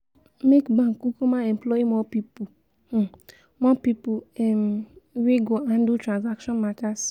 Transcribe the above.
make bank kukuma employ more pipol um more pipol um wey go handle transaction matas